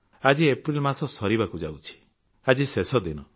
ଆଜି ଏପ୍ରିଲ ମାସ ସରିବାକୁ ଯାଉଛି ଆଜି ଶେଷ ଦିନ